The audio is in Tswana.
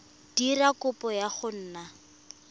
dira kopo ya go nna